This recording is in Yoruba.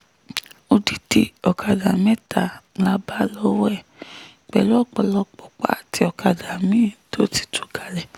odidi ọ̀kadà mẹ́ta la bá lọ́wọ́ ẹ̀ pẹ̀lú ọ̀pọ̀lọpọ̀ pààtì àwọn ọ̀kadà mi-ín tó ti tú palẹ̀